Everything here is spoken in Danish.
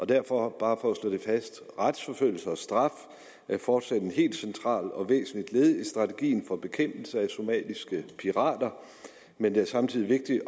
derfor bare for at slå det fast retsforfølgning og straf er fortsat et helt centralt og væsentligt led i strategien for bekæmpelse af somaliske pirater men det er samtidig